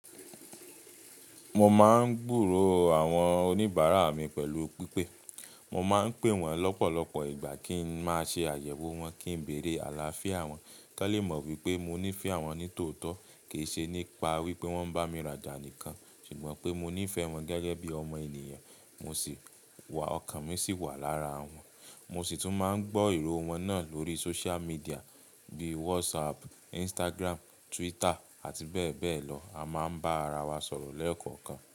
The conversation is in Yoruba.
Mo máa ń gburò àwọn oníbàárà mi pẹ̀lú pípé. Mo máa ń pè wọ́n lọ́pọ̀lọpọ̀ ìgbà kí n máa ṣe àyẹ̀wò wọn, kí n bẹ̀rẹ̀ àlàáfíà wọn. Kálé mọ̀ wípé mo nífẹ̀ẹ́ wọn ní tòótọ́ kì í ṣe nípa wípé wọ́n ń bá mi rajà nìkan, ṣùgbọ́n pé mo nífẹ̀ẹ́ wọn gẹ́gẹ́ bí ọmọ ènìyàn. Mo sì wà, ọkàn mi sì wà lára wọn. Mo sì tún máa ń gbọ́ ìró wọn náà lórí social media bíi WhatsApp, Instagram, Twitter àti bẹ́ẹ̀ bẹ́ẹ̀ lọ. A máa ń bá ara wa sọ̀rọ̀ lẹ́ẹ̀kọ̀kan.